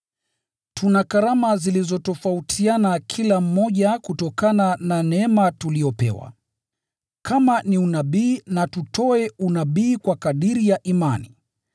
Tuna karama zilizotofautiana kila mmoja kutokana na neema tuliyopewa. Kama ni unabii na tutoe unabii kwa kadiri ya imani.